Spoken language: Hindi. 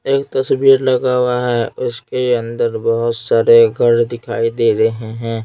एक तस्वीर लगा हुआ है उसके अंदर बहुत सारे घर दिखाई दे रहे हैं।